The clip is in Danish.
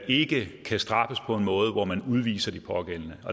ikke kan straffes på en måde hvor man udviser de pågældende